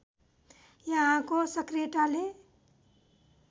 यहाँको सक्रियताले